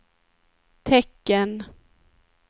tecken